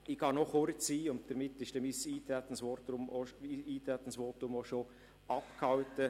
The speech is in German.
Ich gehe noch kurz auf den Punkt der Rebgrundstücke ein, und damit ist dann mein Eintretensvotum auch schon abgehalten.